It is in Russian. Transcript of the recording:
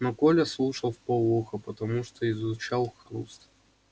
но коля слушал вполуха потому что изучал хруст